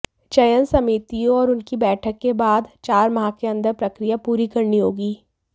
चयन समितियों और उनकी बैठक के बाद चार माह के अंदर प्रकिया पूरी करनी होगी